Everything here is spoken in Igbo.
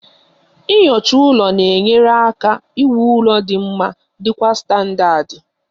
Nyocha ụlọ na-enyere aka iwu ụlọ dị mma dị kwa standadi